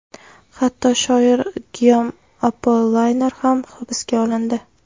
Hatto shoir Giyom Appoliner ham hibsga olindi.